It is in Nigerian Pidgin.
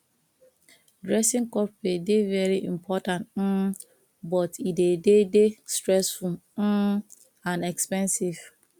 dressing corporate dey very important um but e dey dey stressful um and expensive